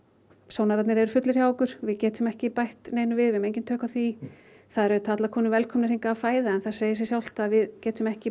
sónararnir eru fullir hjá okkur við getum ekki bætt neinum við við höfum engin tök á því það eru auðvitað allar konur velkomnar hingað að fæða en það segir sig sjálft að við getum ekki